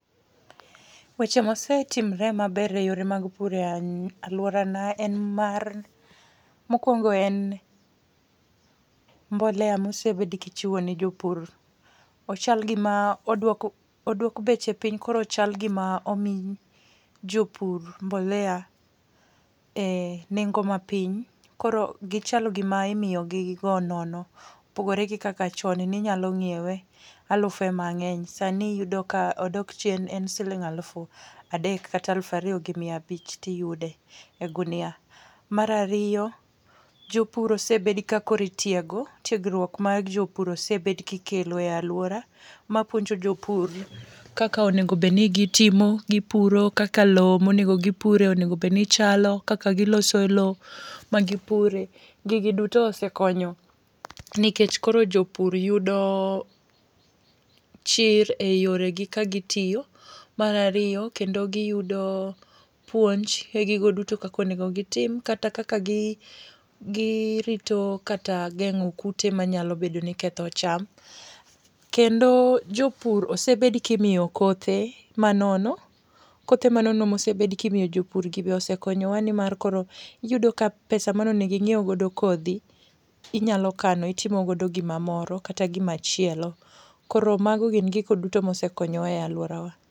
Weche mosetimre maber e yore mag pur e alwora na en mar, mokuongo en mbolea mosebed kichiwo ne jopur. Ochal gima oduok, oduok beche piny koro ochal gima omii jopur mbolea e nengo mapiny. Koro gichalo gima imiyo gi go nono. Opogore gi kaka chon ninyalo ng'iewe alufe mang'eny. Sani iyudo ka odok chien en siling' aluf adek kata aluf ariyo gi miabich tiyude e gunia. Mar ariyo, jopur osebedo ka koro itiego. Tiegruok mag jopur osebed kikelo e alwora ma puonjo jopur kaka onego bedni gitimo, gipuro, kaka loo monego gipure onego bedni chalo, kaka giloso loo ma gipure. Gigi duto osekonyo nikech koro jopur yudo chir e yore gi ka gitiyo. Mar ariyo kendo giyudo puonj e gigo duto kaka onego gitim kata kaka girito kata geng'o kute manyalo bedo ni ketho cham. Kendo jopur osebed kimiyo kothe manono. Kothe manono mosebed kimiyo jopur gi be osekonyowa ni mar koro iyudo ka pesa mane onego ing'iew godo kodhi inyalo kano itimo godo gimamoro kata gimachielo. Koro mago gin gigo duto mosekonyo wa e alwora wa.